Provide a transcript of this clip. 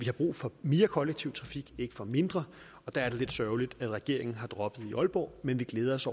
har brug for mere kollektiv trafik ikke for mindre og der er det lidt sørgeligt at regeringen har droppet banen i aalborg men vi glæder os